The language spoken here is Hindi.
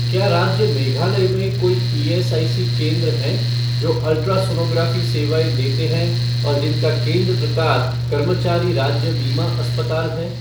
क्या राज्य मेघालय में कोई ईएसआईसी केंद्र हैं जो अल्ट्रासोनोग्राफ़ी सेवाएँ देते हैं और जिनका केंद्र प्रकार कर्मचारी राज्य बीमा अस्पताल है?